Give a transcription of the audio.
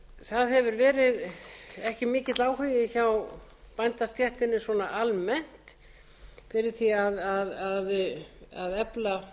það hefur ekki verið mikill áhugi hjá bændastéttinni almennt fyrir því að efla